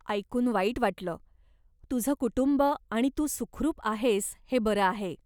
ऐकून वाईट वाटलं, तुझं कुटुंब आणि तू सुखरूप आहेस हे बरं आहे.